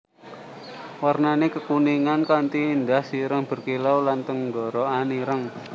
Warnané kekuningan kanti ndas ireng berkilau lan tenggorokan ireng